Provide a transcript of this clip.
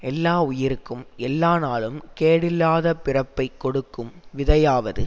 எல்லாவுயிருக்கும் எல்லா நாளுங் கேடில்லாத பிறப்பைக் கொடுக்கும் விதையாவது